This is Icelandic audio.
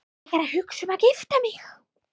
Er ég að hugsa um að gifta mig?